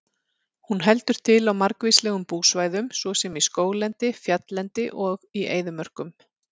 Hún heldur til á margvíslegum búsvæðum svo sem í skóglendi, fjalllendi og í eyðimörkum.